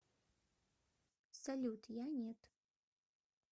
салют я нет